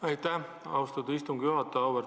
Aitäh, austatud istungi juhataja!